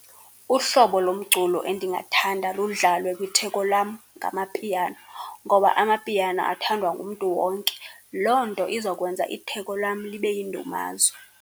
Uhlobo lomculo endingathanda ludlalwe kwitheko lam ngamapiano ngoba amapiano athandwa ngumntu wonke. Loo nto izokwenza itheko lam libe yindumazwe.